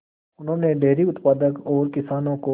उन्होंने डेयरी उत्पादन और किसानों को